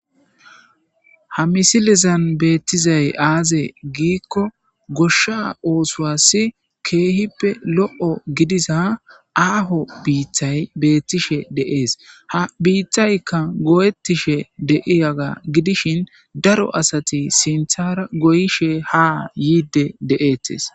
Ha misilizan beettizay aaze giikko goshsha oosuwassi keehippe lo'o gidiza aaho biittay beettishe de'ees ha biittaykka go'ettishe deiyaga gidishin daro asati sinthara goyishe ha yiidde de'eettes.